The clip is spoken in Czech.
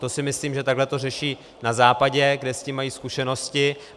To si myslím, že takhle to řeší na Západě, kde s tím mají zkušenosti.